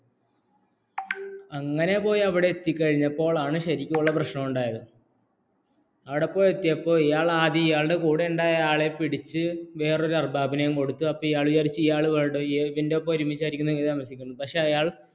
അങ്ങനെ പോയി അവിടെ അതിക്കഴിഞ്ഞപ്പോഴാണ് ശരിക്ക് ഉള്ള പ്രശ്നമുണ്ടായത് അവിടെ പോയിഎത്തിയപ്പോള്‍ ഇയാള്‍ആദ്യം ഇയാളുടെകൂടെയുള്ള ആളിനെ പിടിച്ച്‌ വേറൊരു അര്ബബിനു കൊടുത്ത് അപ്പോള്‍ ഇയാള്‍ വിചാരിച്ചു ഇയാള്‍ ഇയാളുടെ കൂടെ ഒരുമിച്ചു ആയിരിക്കുമെന്ന്